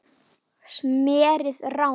smérið rann